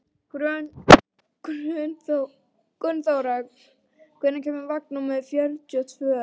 Gunnþóra, hvenær kemur vagn númer fjörutíu og tvö?